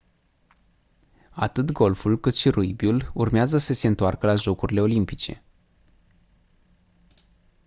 atât golful cât și rugbiul urmează să se întoarcă la jocurile olimpice